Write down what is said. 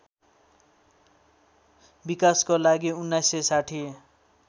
विकासको लागि १९६०